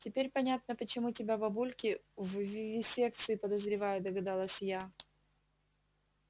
теперь понятно почему тебя бабульки в вивисекции подозревают догадалась я